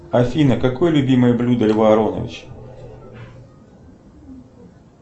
афина какое любимое блюдо льва ароновича